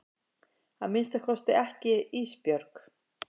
Að minnsta kosti ekki Ísbjörg.